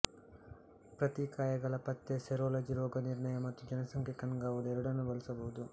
ಪ್ರತಿಕಾಯಗಳ ಪತ್ತೆ ಸೆರೋಲಜಿ ರೋಗನಿರ್ಣಯ ಮತ್ತು ಜನಸಂಖ್ಯಾ ಕಣ್ಗಾವಲು ಎರಡನ್ನೂ ಬಳಸಬಹುದು